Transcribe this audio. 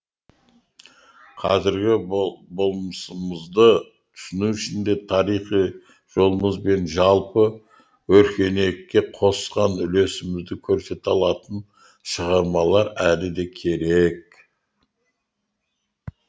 қазіргі болмысымызды түсіну үшін де тарихи жолымыз бен жалпы өркениетке қосқан үлесімізді көрсете алатын шығармалар әлі де керек